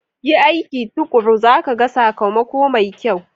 Yi aiki tuƙuru za ka ga sakamako mai kyau.